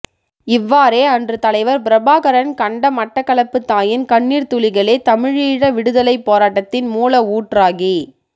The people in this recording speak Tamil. இவ்வாறே அன்று தலைவர் பிரபாகரன் கண்ட மட்டக்களப்புத் தாயின் கண்ணீர்த் துளிகளே தமிழீழ விடுதலைப் போராட்டத்தின் மூல ஊற்றாகி